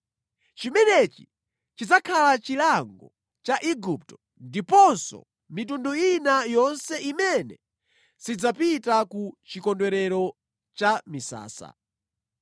Chimenechi chidzakhala chilango cha Igupto ndiponso mitundu ina yonse imene sidzapita ku Chikondwerero cha Misasa.